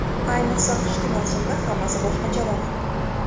Ayniqsa qishki mavsumda hammasi boshqacharoq.